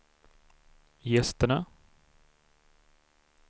gästerna